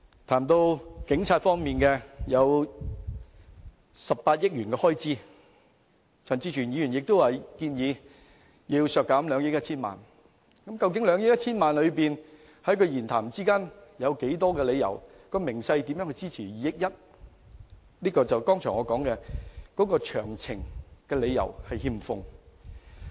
談到警察方面，開支為18億元，而陳志全議員亦建議削減其中的2億 1,000 萬元，但其發言內容並未提供任何理由和分項數字支持有關建議，這正是我剛才所說的失卻詳情。